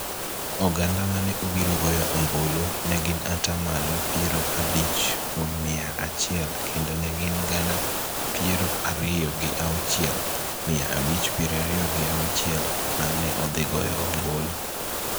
Oganda mane obiro goyo ombulu ne gin ata malo piero abich kuom mia achiel kendo ne gin gana piero ariyo gi auchiel, mia abich piero ariyo gi auchiel ma ne odhi goyo ombulu.